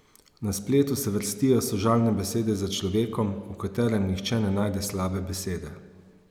Na spletu se vrstijo sožalne besede za človekom, o katerem nihče ne najde slabe besede.